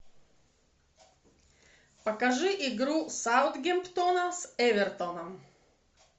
покажи игру саутгемптона с эвертоном